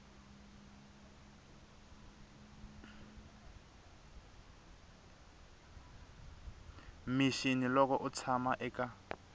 mixini loko u tshama eka